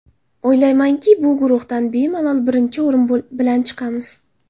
O‘ylaymanki, bu guruhdan bemalol birinchi o‘rin bilan chiqamiz.